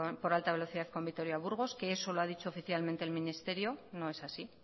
por alta velocidad con vitoria burgos que eso lo ha dicho oficialmente el ministerio no es así